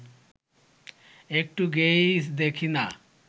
একটু গেয়েই দেখি না